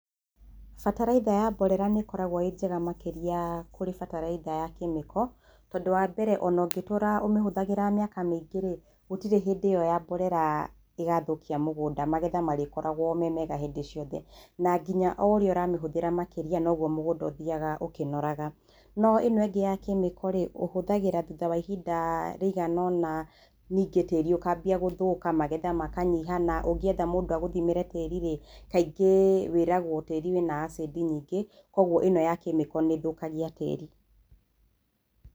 Bataraitha ya mborera nĩ ĩkoragwo ĩ njega makĩria kũrĩ bataraitha ya kemiko, tondũ wa mbere o na ũngĩtũra ũmĩhũthagĩra mĩaka mĩingĩ rĩ, gũtirĩ hĩndĩ ĩyo ya mborera ĩgathũkia mũgũnda, magetha marĩ koragwo me mega hĩndĩ ciothe. Na nginya o ũrĩa ũraũhũthĩra makĩria nĩguo mũgũnda ũthiaga ũkĩnoraga. No ĩno ĩngĩ ya kemiko rĩ, ũhũthagĩra thutha wa ihinda rĩiganona ningĩ tĩĩri ũkaambia gũthũka, magetha makanyiha na ũngĩetha mũndũ agũthimĩre tĩĩri rĩ, kaingĩ wĩragwo tĩĩri wĩna acid nyingĩ. Kwoguo ĩno ya kemiko nĩ ĩthukagia tĩĩri.